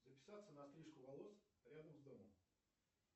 записаться на стрижку волос рядом с домом